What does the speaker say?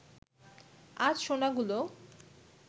আজ সোনাগুলো